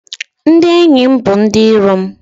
Ndị enyi m bụ ndị iro m